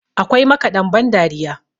akwai makaɗan bandariya